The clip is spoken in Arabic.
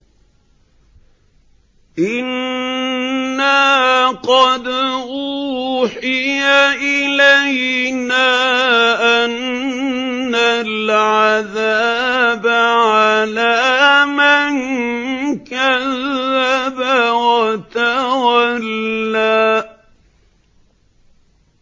إِنَّا قَدْ أُوحِيَ إِلَيْنَا أَنَّ الْعَذَابَ عَلَىٰ مَن كَذَّبَ وَتَوَلَّىٰ